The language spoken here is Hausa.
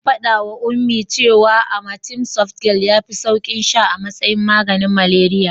Zan faɗawa Ummi that cewa amatem softgel yafi saukin sha a matsayin maganin malariya.